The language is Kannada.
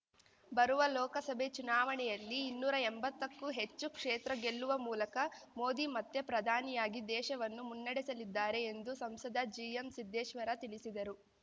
ಬರುವ ಲೋಕಸಭೆ ಚುನಾವಣೆಯಲ್ಲಿ ಇನ್ನೂರಾ ಎಂಬತ್ತಕ್ಕೂ ಹೆಚ್ಚು ಕ್ಷೇತ್ರ ಗೆಲ್ಲುವ ಮೂಲಕ ಮೋದಿ ಮತ್ತೆ ಪ್ರಧಾನಿಯಾಗಿ ದೇಶವನ್ನು ಮುನ್ನಡೆಸಲಿದ್ದಾರೆ ಎಂದು ಸಂಸದ ಜಿಎಂಸಿದ್ದೇಶ್ವರ ತಿಳಿಸಿದರು